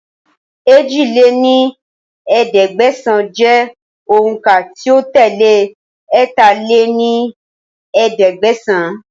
èjì lé ní ẹ̀ẹ́dẹ́gbẹ́sán jẹ́ òun ká tí ó tẹ́lé ẹ̀ta lé ní ẹ̀ẹ́dẹ́gbẹ́sán